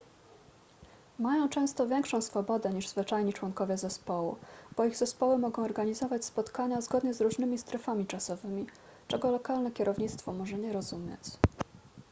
mają często większą swobodę niż zwyczajni członkowie zespołu bo ich zespoły mogą organizować spotkania zgodnie z różnymi strefami czasowymi czego lokalne kierownictwo może nie rozumieć